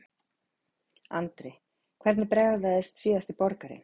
Andri: Hvernig bragðaðist síðasti borgarinn?